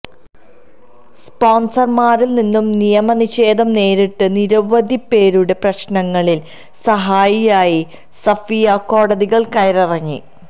സ്പോൺസർമാരിൽ നിന്ന് നിയമനിഷേധം നേരിട്ട് നിരവധി പേരുടെ പ്രശ്നങ്ങളിൽ സഹായിയായി സഫിയ കോടതികൾ കയറിയിറങ്ങി